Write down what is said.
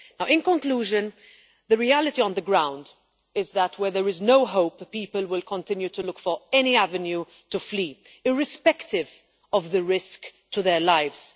In conclusion, the reality on the ground is that, where there is no hope, the people will continue to look for any avenue to flee, irrespective of the risk to their lives.